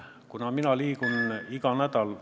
Kuna mina liigun iga nädal ...